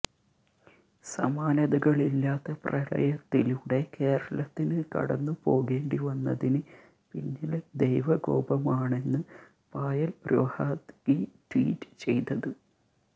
സമാനതകളില്ലാത്ത പ്രളയത്തിലൂടെ കേരളത്തിന് കടന്നുപോകേണ്ടിവന്നതിന് പിന്നില് ദൈവകോപമാണെന്ന് പായല് രൊഹാത്ഗി ട്വീറ്റ് ചെയ്തത്